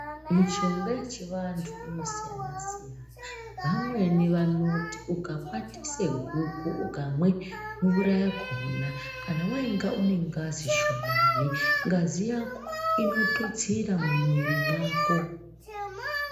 Mishonga yechivantu inosiyana siyana vamweni vanoti ukakwatise guku ukamwe mvura yakhona kana wainga une ngazi shomani ngazi yako inotuyaira mumwiri mwako.